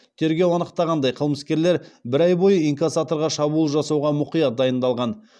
тергеу анықтағандай қылмыскерлер бір ай бойы инкассаторға шабуыл жасауға мұқият дайындалған